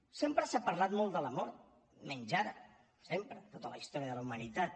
sempre s’ha parlat molt de la mort menys ara sempre tota la història de la humanitat